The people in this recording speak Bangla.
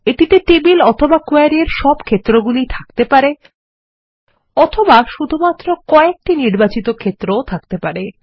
এটিতে টেবিল অথবা queryএর সব ক্ষেত্রগুলি থাকতে পারে অথবা শুধুমাত্র কয়েকটি নির্বাচিত ক্ষেত্র ও থাকতে পারে